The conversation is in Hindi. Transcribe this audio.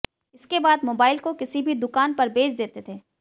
इसके बाद मोबाइल को किसी भी दुकान पर बेच देते थे